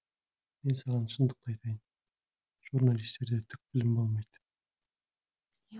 мен саған шындықты айтайын журналистерде түк білім болмайды